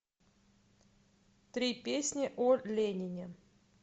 три песни о ленине